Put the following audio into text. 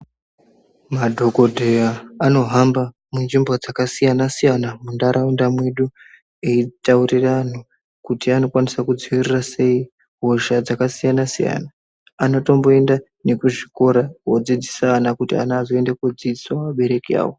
Madhokodheya anohamba munzvimbo dzakasiyana siyana mundaraunda medu eitaurira antu kuti anokwanisa kudzivirira sei hosha dzakasiyana siyana anotomboenda nekuzvikora kodzidzisa ana kuti ana azoenda kodzidzisa abereki avo.